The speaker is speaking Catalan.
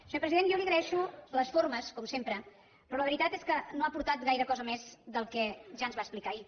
senyor president jo li agraeixo les formes com sempre però la veritat és que no ha aportat gaire cosa més del que ja ens va explicar ahir